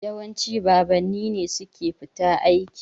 Yawanci babanni ne suke fita aiki.